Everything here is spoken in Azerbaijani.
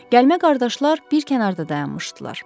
Gəlmə qardaşlar bir kənarda dayanmışdılar.